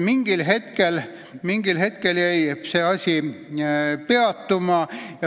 Mingil hetkel jäi parandamistöö peatuma.